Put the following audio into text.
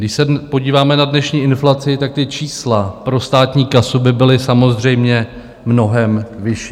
Když se podíváme na dnešní inflaci, tak ta čísla pro státní kasu by byla samozřejmě mnohem vyšší.